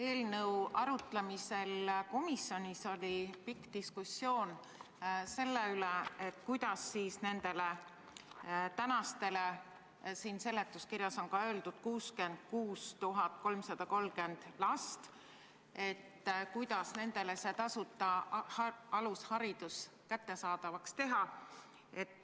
Eelnõu arutamisel komisjonis oli pikk diskussioon selle üle, kuidas teha nendele praegustele kodus olevatele lastele – seletuskirjas on öeldud, et neid on 66 330 –, tasuta alusharidus kättesaadavaks.